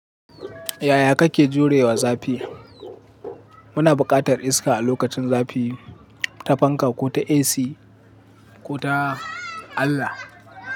Yaya kake jurewa zafi? Muna buƙatar iska a lokacin zafi, ta fanka ko ta AC ko ta Allah.